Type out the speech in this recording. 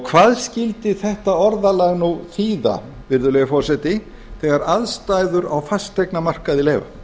hvað skyldi þetta orðalag nú þýða virðulegi forseti þegar aðstæður